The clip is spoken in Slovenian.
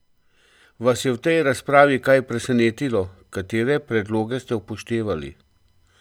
Vas je v tej razpravi kaj presenetilo, katere predloge ste upoštevali?